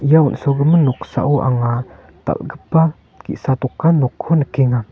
ia on·sogimin noksao anga dal·gipa ge·sa dokan nokko nikenga.